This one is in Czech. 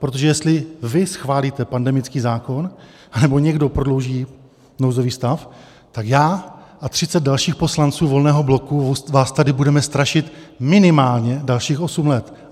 Protože jestli vy schválíte pandemický zákon, anebo někdo prodlouží nouzový stav, tak já a 30 dalších poslanců Volného bloku vás tady budeme strašit minimálně dalších osm let.